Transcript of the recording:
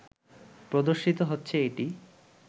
প্রদর্শিত হচ্ছে এটি